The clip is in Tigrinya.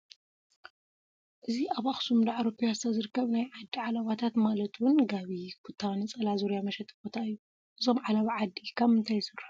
እዚ ኣብ ኣኽሱም ዳዕሮ ፒያሳ ዝርከብ ናይ ዓዲ ዓለባታት ማለት እውን ጋቢ፣ ኩታ፣ ነፀላ፣ ዙርያ መሸጢ ቦታ እዩ፡፡ እዞም ዓለባ ዓዲ ካብ ምንታይ ይስርሑ?